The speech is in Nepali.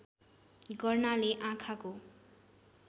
गर्नाले आँखाको